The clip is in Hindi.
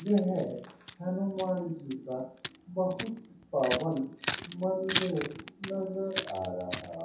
यह हनुमान जी का बहुत पावन मंदिर नजर आ रहा --